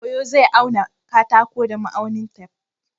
Ɗan koyo zai auna katakon da ma'aunin tef.